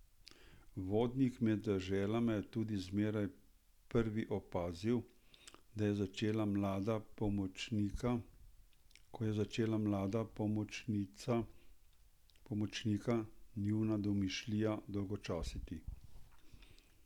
Vodnik med deželama je tudi zmeraj prvi opazil, ko je začela mlada pomočnika njuna domišljija dolgočasiti.